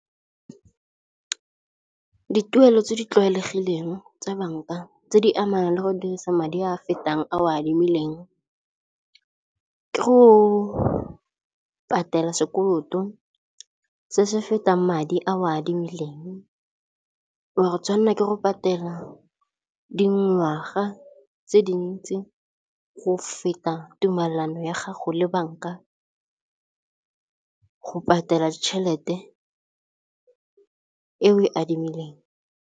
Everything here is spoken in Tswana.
Dituelo tse di tlwaelegileng tsa bank-a tse di amanang le go dirisa madi a fetang a o a adimileng ke go patela sekoloto se se fetang madi a o a adimileng, wa go tshwanela ke go patela dingwaga tse di ntsi go feta tumelano ya gago le bank-a go patela tšhelete e o e adimileng.